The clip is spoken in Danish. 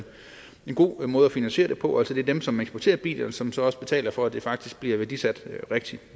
en god måde at finansiere det på altså at det er dem som eksporterer bilerne som så også betaler for at det faktisk bliver værdisat rigtigt